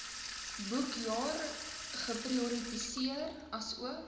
boekjaar geprioritiseer asook